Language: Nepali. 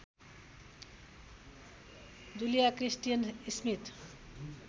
जुलिया क्रिस्टिन स्मिथ